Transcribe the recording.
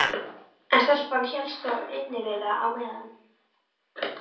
En stelpan hélst þó innivið á meðan.